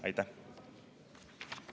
Aitäh!